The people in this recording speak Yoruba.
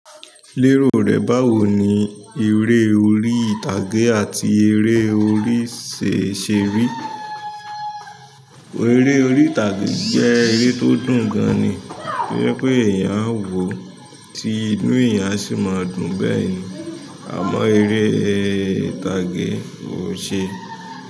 Lérò rẹ báwo ni eré orí ìtàgé àti eré orí ṣe ṣe rí? Eré orí ìtàgé jẹ́ eré tó dùn gan ni. To je pé èèyàn á wò ó, tí inú èèyàn sì máa dùn beni. Àmọ́ eré orí ìtàgé kò ṣe.